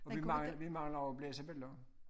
Og vi vi mangler og oplæse billeder